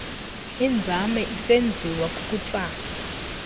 inzame isenziwa kukutsala